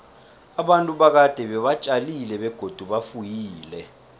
abantu bakade beba tjalile begodu bafuyile